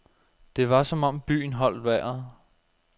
Det var som om byen holdt vejret.